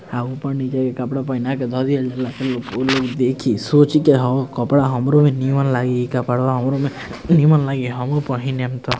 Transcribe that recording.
आ ऊपर नीचे के कपड़ा पहिना के धा दिहल जाला त लोग ऊ लोग देखी सोची की ह कपड़ा हमरो में निमन लगी ई कपड़वा हमरो में निमन लगी हमू पेहिनम त।